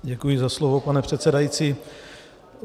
Děkuji za slovo, pane předsedající.